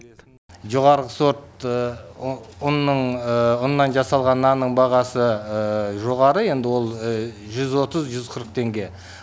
жоғары сорт ұнның ұннан жасалған нанның бағасы жоғары енді ол жүз отыз жүз қырық теңге